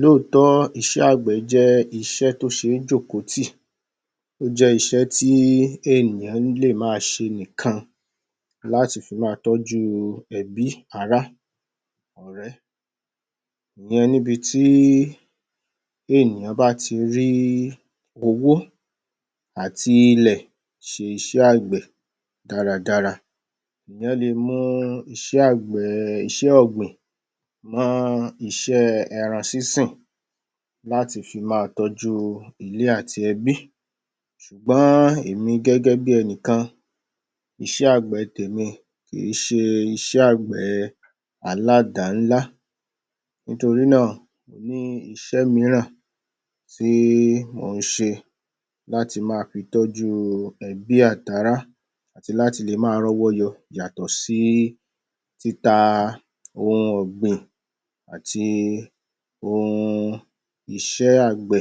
Lóòtọ́, iṣẹ́ àgbẹ̀ jẹ́ iṣẹ́ tó ṣé jòkó tí, ó jẹ́ iṣẹ́ tí ènìyàn lè ma ṣe nìkan láti fi ma tọ́jú ẹbí, ará, ọ̀rẹ́. ìyẹn níbi tí ènìyàn bá ti rí owó àti ilẹ̀ ṣe iṣẹ́ àgbẹ̀ dára dára. Èyàn le mú iṣẹ́ àgbẹ̀; iṣẹ́ ọ̀gbìn, mọ́ iṣẹ́ ẹran sín-sìn láti fi ma tọ́jú ilé àti ẹbí, ṣùgbọ́n èmi gẹ́gẹ́ bí enìkan, iṣẹ́ àgbẹ̀ tèmi kì í ṣe iṣẹ́ àgbẹ̀ aládà-ńlá, nítorí náà mo ní iṣẹ́ míràn tí mò ń ṣe láti ma fi tọ́jú ebí àti ará àti láti lè ma rọ́wọ́ yọ yàtọ̀ sí títa ohun ọ̀gbìn àti ohun iṣẹ́ àgbè.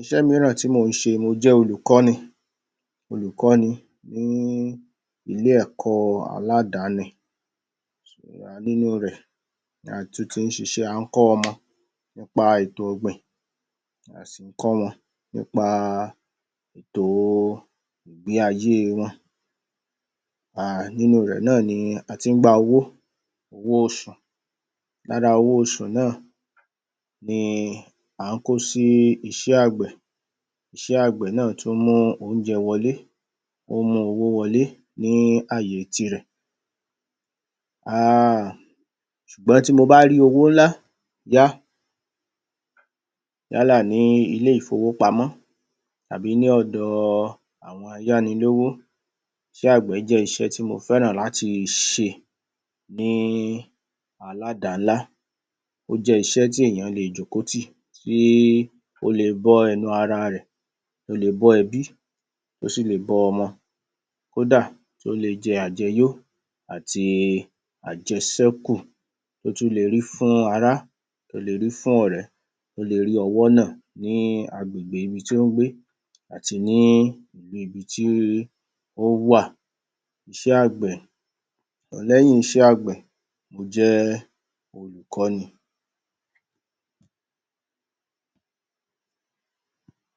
Iṣẹ́ míràn tí mò ń ṣe; mo jẹ́ Olùkọ́ni, Olùkọ́ni ní ilé ẹ̀kọ́ aládáni nínú rẹ̀ la tún tí ṣiṣẹ́, à ń kọ́ ọmọ nípa ètò ọ̀gbìn, a sì ń kọ́ wọn nípa ètò ilé ayé wọn, um nínú rẹ̀ náà ni a tí ń gba owó, owó oṣù. Lára owó oṣù náà ni à ń kó sí iṣẹ́ àgbẹ̀, iṣẹ́ àgbẹ̀ náà tún mú oúnjẹ wọlé, ó ń mú owó wọlé ní àyè ti rẹ̀, um ṣùgbọ́n tí mo bá rí owó ńlá yá, yálà ní ilé ìfowópamọ tàbí ní ọ̀dọ àwọn ayánilówó, iṣẹ́ àgbẹ̀ jẹ́ iṣẹ́ tí mo fẹ́ràn láti ṣe ní aládà-ńlá. Ó jẹ́ iṣẹ́ tí èèyàn le jòkó tì, tí ó le bọ́ ẹnu ara rẹ̀, ó lè bọ́ ẹbí, ó sì lè bọ́ ọmọ. Kódà, ó le jẹ àjẹ yó àti àjẹṣẹ́kù, ó tún le rí fún ará, ó le rí fún ọ̀rẹ́, ó le rí ọwọ́ nà ní agbèbgè ibi tí ó ń gbé àti ní ibi tí ó wà. Iṣẹ́ àgbẹ̀, lẹ́yìn iṣẹ́ àgbè, mo jẹ́ Olùkọni.